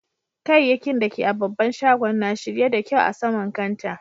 Kayakkin da ke a'babban shagon na shirye da kyau a sama'n kantaa.